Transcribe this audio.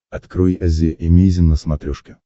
открой азия эмейзин на смотрешке